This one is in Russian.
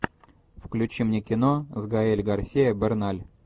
включи мне кино с гаэль гарсиа берналь